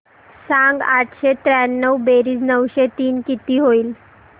सांग आठशे त्र्याण्णव बेरीज नऊशे तीन किती होईल